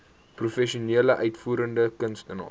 professionele uitvoerende kunstenaars